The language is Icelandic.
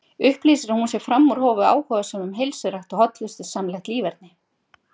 Upplýsir að hún sé fram úr hófi áhugasöm um heilsurækt og hollustusamlegt líferni.